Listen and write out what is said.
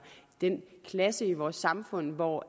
den klasse i vores samfund hvor